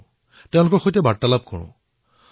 কিছুমান লোকৰ সৈতে কথাবাৰ্তা পতাৰ সুবিধা পাওঁ